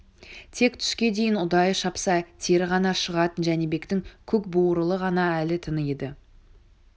тек түске дейін ұдайы шапса тері ғана шығатын жәнібектің көкбуырылы ғана әлі тың еді